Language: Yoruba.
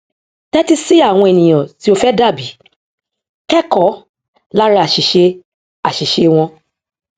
tẹtí sí àwọn ènìyàn tí o fẹ dàbí kẹkọọ lára àṣìṣe àṣìṣe wọn